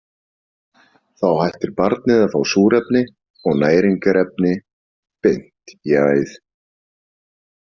Þá hættir barnið að fá súrefni og næringarefni „beint í æð“.